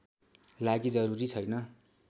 लागि जरूरी छैन